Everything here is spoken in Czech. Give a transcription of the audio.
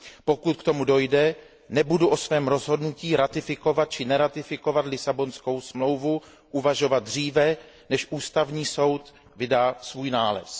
Pokud k tomu dojde, nebudu o svém rozhodnutí ratifikovat či neratifikovat Lisabonskou smlouvu uvažovat dříve, než Ústavní soud vydá svůj nález.